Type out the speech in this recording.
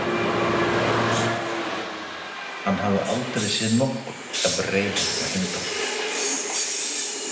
Hann hafði aldrei séð nokkurn jafn reiðan og Heimdall.